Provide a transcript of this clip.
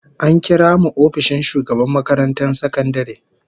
An kira mu ofishin shugaban makarantar sakandare